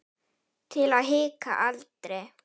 Til að hika aldrei.